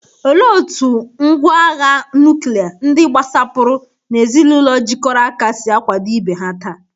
Olee otú ngwá agha nuklia, ndị gbasapụrụ, na ezinụlọ jikọrọ aka si akwado ibe ha taa?